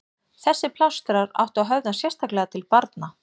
Þessir plástrar áttu að höfða sérstaklega til barna.